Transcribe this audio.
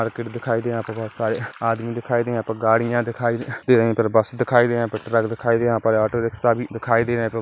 Market दिखाई दे रहा है यहाँ पर बहुत सारे आदमी दिखाई दे रहा गाड़ियां दिखाई दे रही है बस दिखाई दे रहे हैं ट्रक दिखाई दे रहा ऑटो रिक्शा भी दिखाई दे रहा है।